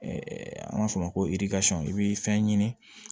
an b'a fɔ o ma ko i b'i fɛn ɲini